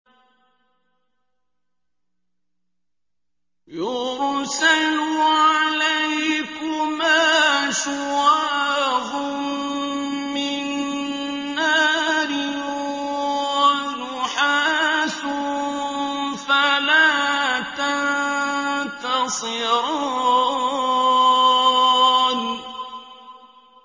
يُرْسَلُ عَلَيْكُمَا شُوَاظٌ مِّن نَّارٍ وَنُحَاسٌ فَلَا تَنتَصِرَانِ